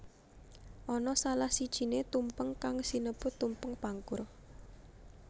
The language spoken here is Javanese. Ana salah sijiné tumpeng kang sinebut Tumpeng Pangkur